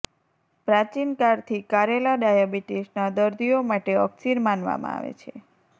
પ્રાચીનકાળથી કારેલા ડાયાબિટીસના દર્દીઓ માટે અક્સિર માનવામાં આવે છે